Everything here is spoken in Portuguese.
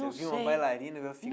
Não sei Você viu uma bailarina, viu a